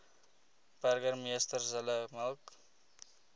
burgemeester zille mik